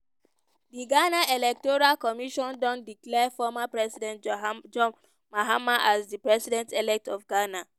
di ghana electoral commission don declare former president john mahama as di president-elect of ghana.